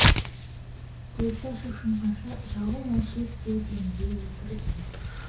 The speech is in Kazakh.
көзді ашып жұмғанша жауым алшиып кеудемде отырды